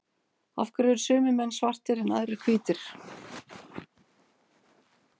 af hverju eru sumir menn svartir en aðrir hvítir